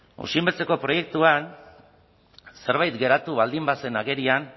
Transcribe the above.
osinbeltzeko proiektuan zerbait geratu baldin bazen agerian